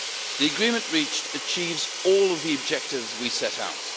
The agreement reached achieves all of the objectives we set out.